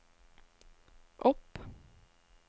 opp